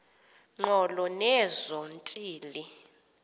ngqolo nezo ntili